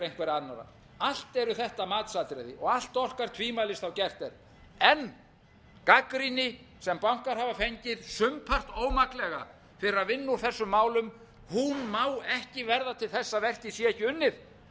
einhverra annarra allt eru þetta matsatriði og allt orkar tvímælis þá gert er en gagnrýni sem bankar hafa fengið sumpart ómaklega fyrir að vinna úr þessum málum hún má ekki verða til þess að verkið sé ekki unnið því